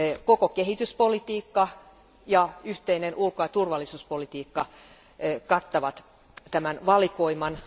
Koko kehityspolitiikka ja yhteinen ulko ja turvallisuuspolitiikka kattavat tämän valikoiman.